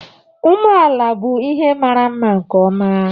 Umeala bụ ihe mara mma nkeọma.